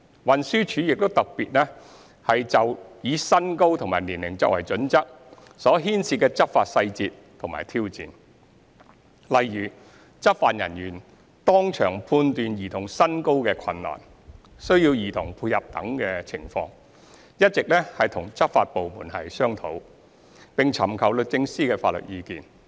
運輸署亦特別就以身高及年齡作為準則所牽涉的執法細節及挑戰，例如執法人員當場判斷兒童身高的困難、需要兒童配合等情況，一直與執法部門商討，並尋求律政司的法律意見。